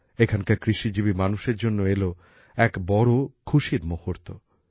এখানকার কৃষিজীবী মানুষের জন্য এলো এক বড় খুশির মুহুর্ত